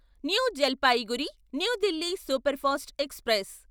new Jalpaiguri New Delhi superfast express